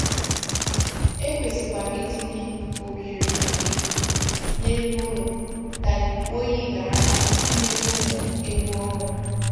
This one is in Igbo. E kwesịkwara itinye oghere ikuku n’elu ụlọ ka ikuku oyi ghara imetụ ụmụ ewu ọhụrụ.